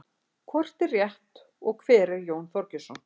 hvort er rétt og hver er jón þorgeirsson